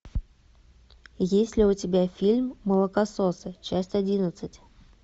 есть ли у тебя фильм молокососы часть одиннадцать